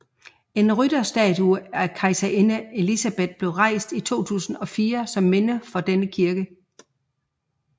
En rytterstatue af kejserinde Elisabeth blev rejst i 2004 som minde for denne kirke